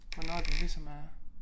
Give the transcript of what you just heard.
Hvornår det ligesom er